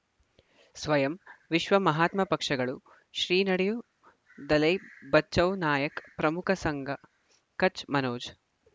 ಸ್ವಯಂ ವಿಶ್ವ ಮಹಾತ್ಮ ಪಕ್ಷಗಳು ಶ್ರೀ ನಡೆಯೂ ದಲೈ ಬಚೌ ನಾಯಕ್ ಪ್ರಮುಖ ಸಂಘ ಕಚ್ ಮನೋಜ್